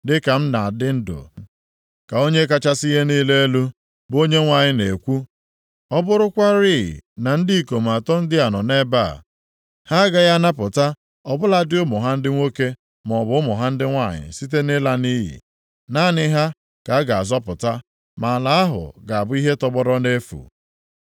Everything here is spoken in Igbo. dịka m na-adị ndụ ka Onye kachasị ihe niile elu, bụ Onyenwe anyị na-ekwu, ọ bụrụkwarị na ndị ikom atọ ndị a nọ nʼebe a, ha agaghị anapụta ọ bụladị ụmụ ha ndị nwoke maọbụ ụmụ ha ndị nwanyị site nʼịla nʼiyi. Naanị ha ka a ga-azọpụta, ma ala ahụ ga-abụ ihe tọgbọrọ nʼefu.